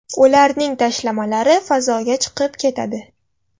Ularning tashlamalari fazoga chiqib ketadi.